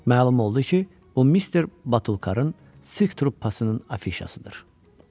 Məlum oldu ki, o Mister Batulkarrın sirk truppasının afişasıdır.